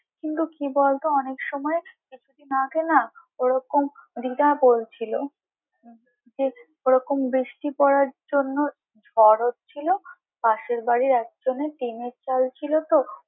কিন্তু কি বলতো অনেক সময় কিছু দিন আগে না ওরকম দিদা বলছিলো যে ওরকম বৃষ্টি পড়ার জন্য ঝড় হচ্ছিলো পাশের বাড়ির একজনের টিনের চাল ছিল তো।